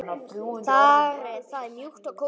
Það er mjúkt og kósí.